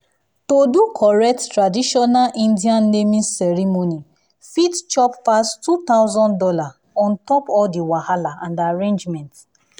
to do correct traditional indian naming ceremony fit chop pass two thousand dollars on top all the wahala and arrangement.